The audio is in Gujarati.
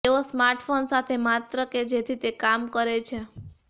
તેઓ સ્માર્ટફોન સાથે માત્ર કે જેથી તે કામ કરે છે